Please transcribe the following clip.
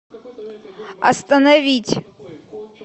остановить